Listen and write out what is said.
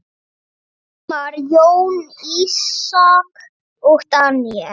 Hilmar, Jóna, Ísak og Daníel.